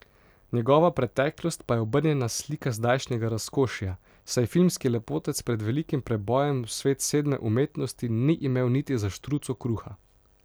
Njegova preteklost pa je obrnjena slika zdajšnjega razkošja, saj filmski lepotec pred velikim prebojem v svet sedme umetnosti ni imel niti za štruco kruha.